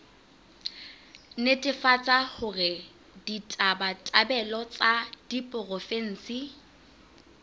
netefatsa hore ditabatabelo tsa diporofensi